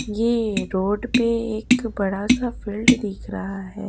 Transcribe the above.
यह रोड पे एक बड़ा सा फील्ड दिख रहा है।